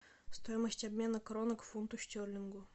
стоимость обмена кроны к фунту стерлингу